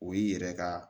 O y'i yɛrɛ ka